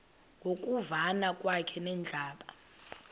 ngokuvana kwakhe nebandla